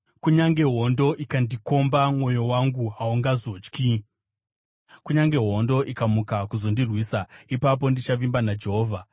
Kunyange hondo ikandikomba, mwoyo wangu haungazotyi; kunyange hondo ikamuka kuzondirwisa, ipapo ndichavimba naJehovha.